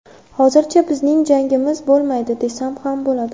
Hozircha bizning jangimiz bo‘lmaydi, desam ham bo‘ladi.